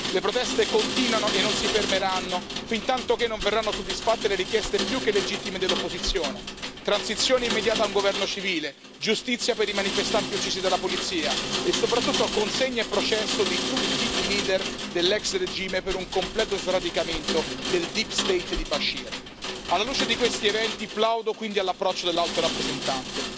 Le proteste continuano e non si fermeranno, fintantoché non verranno soddisfatte le richieste più che legittime dell'opposizione transizione immediata a un governo civile, giustizia per i manifestanti uccisi dalla polizia e soprattutto consegna e processo di tutti i leader dell'ex regime per un completo sradicamento del deep state di Bashir. Alla luce di questi eventi, plaudo quindi all'approccio dell'Alto rappresentante.